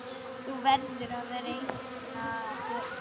Þú verður að reikna Pétur.